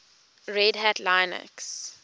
red hat linux